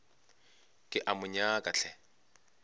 ke a mo nyaka hle